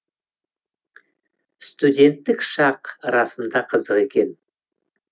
студенттік шақ расында қызық екен